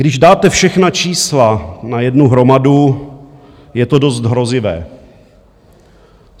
Když dáte všechna čísla na jednu hromadu, je to dost hrozivé.